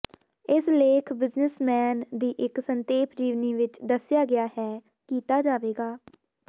ਇਸ ਲੇਖ ਬਿਜ਼ਨਿਸਮੈਨ ਦੀ ਇੱਕ ਸੰਖੇਪ ਜੀਵਨੀ ਵਿਚ ਦੱਸਿਆ ਗਿਆ ਹੈ ਕੀਤਾ ਜਾਵੇਗਾ